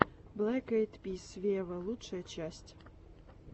блэк айд пис вево лучшая часть